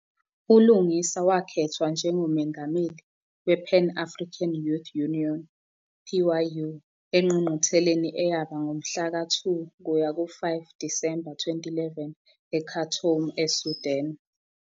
ULungisa wakhethwa njengoMengameli wePan-African Youth Union, PYU, engqungqutheleni eyaba ngomhlaka 2 kuya ku-5 Disemba 2011 eKhartoum, eSudan.